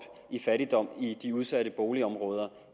i fattigdom i de udsatte boligområder